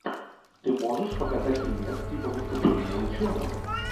ты можешь показать фильмец типа выступление ученого